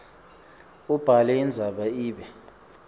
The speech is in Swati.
ubhale indzaba ibe